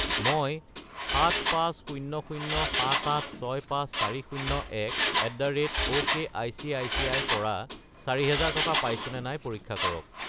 মই 7500,7865401@okicici ৰ পৰা 4000 টকা পাইছোনে নাই পৰীক্ষা কৰক।